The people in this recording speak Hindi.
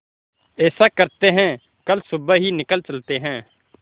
ऐसा करते है कल सुबह ही निकल चलते है